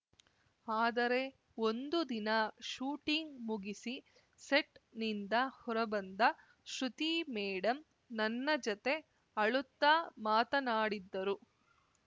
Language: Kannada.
ಆದರೆ ಒಂದು ದಿನ ಶೂಟಿಂಗ್‌ ಮುಗಿಸಿ ಸೆಟ್‌ನಿಂದ ಹೊರಬಂದ ಶ್ರುತಿ ಮೇಡಂ ನನ್ನ ಜತೆ ಅಳುತ್ತ ಮಾತನಾಡಿದ್ದರು